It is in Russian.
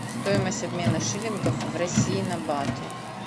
стоимость обмена шиллингов в россии на баты